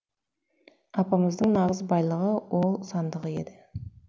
апамыздың нағыз байлығы ол сандығы еді